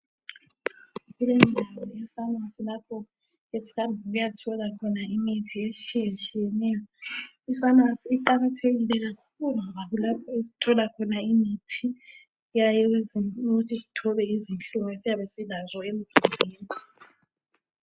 Leyi yindawo yefamasi lapho esihamba ukuyathola khona imithi etshiye tshiyeneyo ifamasi iqakathekile kakhulu ngoba kulapho esithola khona imithi eyenza ukuthi sithobe izinhlungu esiyabe isilazo emzimbeni.